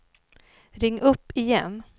ring upp igen